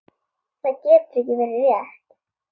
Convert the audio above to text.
Það getur ekki verið rétt.